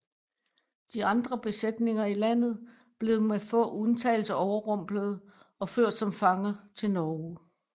De andre besætninger i landet blev med få undtagelser overrumplede og ført som fanger til Norge